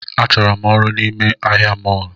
A chọrọ m ọrụ n’ime ahịa mọlu